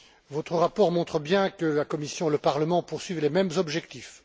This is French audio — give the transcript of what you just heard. Votre rapport montre bien que la Commission et le Parlement poursuivent les mêmes objectifs.